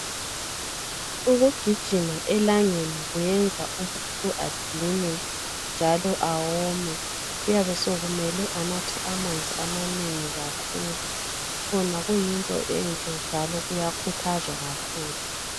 Ukugijima elangeni kuyenza umuntu adinwe njalo awome, kuyabe sokumele anathe amanzi amanengi kakhulu, khona kuyinto enhle njalo kuyakhuthazwa kakhulu.